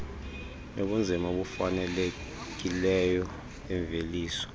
yobunzima obufanelekileyo bemveliso